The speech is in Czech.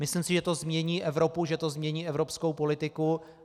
Myslím si, že to změní Evropu, že to změní evropskou politiku.